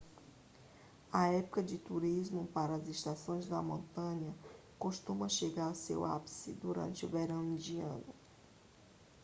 a época de turismo para as estações de montanha costuma chegar ao seu ápice durante o verão indiano